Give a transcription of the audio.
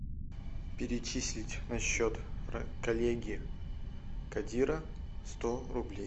перечислить на счет коллеги кадира сто рублей